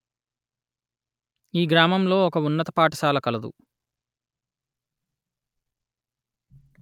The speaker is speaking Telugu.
ఈ గ్రామములో ఒక ఉన్నత పాఠశాల కలదు